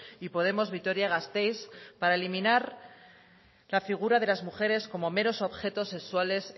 y podemos vitoria gasteiz para eliminar la figura de la mujer como meros objetos sexuales